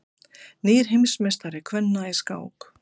Nýr heimsmeistari kvenna í skák